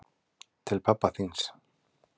Til pabba þíns.